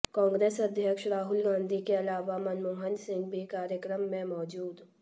कांग्रेस अध्यक्ष राहुल गाँधी के अलावा मनमोहन सिंह भी कार्यक्रम में मौजूद